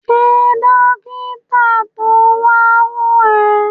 Ṣe dókítà to wa wo ẹ?